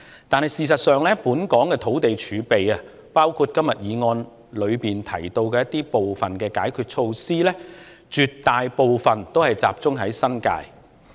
但是，事實上，本港的土地儲備，包括今天議案中提及部分解決措施涉及的土地，絕大部分都集中在新界。